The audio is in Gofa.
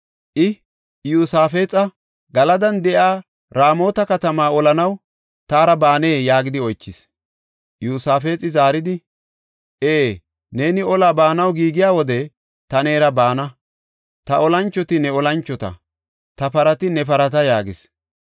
I, Iyosaafexa, “Galadan de7iya Raamota katamaa olanaw taara baanee?” yaagidi oychis. Iyosaafexi zaaridi, “Ee, neeni olaa baanaw giigiya wode ta neera baana. Ta olanchoti ne olanchota; ta parati ne parata” yaagis.